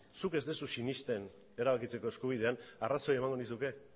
zuk ez duzu sinesten erabakitzeko eskubidean arrazoia emango nizuke